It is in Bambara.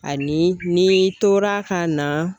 Ani n'i tora ka na.